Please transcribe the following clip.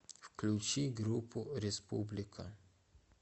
включи группу республика